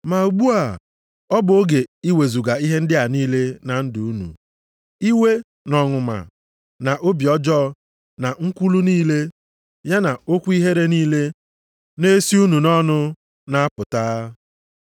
Ma ugbu a bụ oge iwezuga ihe ndị a niile na ndụ unu: iwe, na ọnụma, na obi ọjọọ, na nkwulu niile, ya na okwu ihere niile na-esi unu nʼọnụ na-apụta.